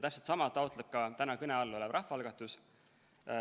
Täpselt sama taotleb ka täna kõne all olev rahvaalgatus.